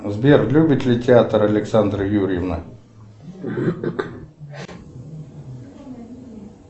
сбер любит ли театр александра юрьевна